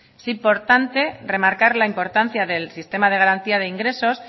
es importante remarcar la importancia del sistema de garantía de ingresos